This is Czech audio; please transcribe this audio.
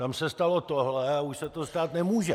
Tam se stalo tohle a už se to stát nemůže.